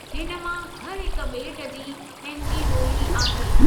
हिन मां हर हिक बे॒ट जी पंहिंजी बो॒ली आहे|